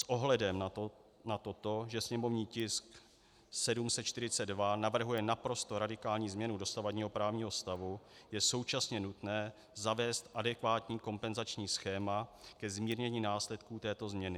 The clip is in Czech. S ohledem na to, že sněmovní tisk 742 navrhuje naprosto radikální změnu dosavadního právního stavu, je současně nutné zavést adekvátní kompenzační schéma ke zmírnění následků této změny.